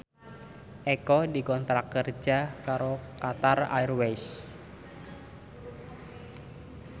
Eko dikontrak kerja karo Qatar Airways